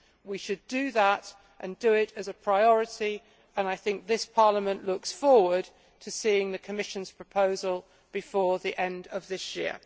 We should do that and do it as a priority and I think this Parliament looks forward to seeing the Commission's proposal before the end of this year.